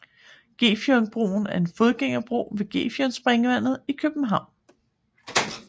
Gefionbroen er en fodgængerbro ved Gefionspringvandet i København